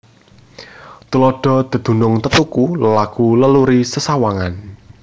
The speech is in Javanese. Tuladha dedunung tetuku lelaku leluri sesawangan